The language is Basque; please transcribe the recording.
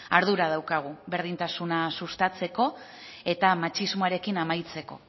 ardura daukagu berdintasuna sustatzeko eta matxismoarekin amaitzeko